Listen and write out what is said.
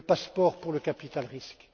le passeport pour le capital risque